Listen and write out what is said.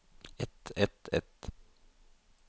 et et et